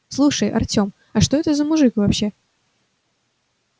слушай артём а что это за мужик вообще